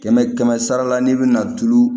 Kɛmɛ kɛmɛ sara la n'i bɛna tulu